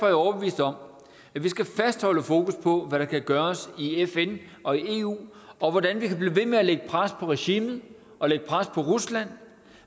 jeg overbevist om at vi skal fastholde fokus på hvad der kan gøres i fn og i eu og hvordan vi kan blive ved med at lægge pres på regimet og lægge pres på rusland